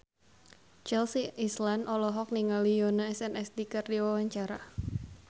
Chelsea Islan olohok ningali Yoona SNSD keur diwawancara